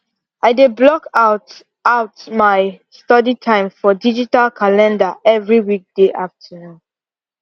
i dey block out out my study time for digital calender every weekday afternoon